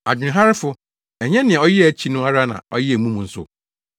Adwenharefo! Ɛnyɛ nea ɔyɛɛ akyi no ara na ɔyɛɛ mu nso?